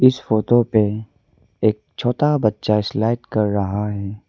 इस फोटो पे एक छोटा बच्चा स्लाइड कर रहा है।